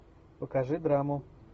покажи драму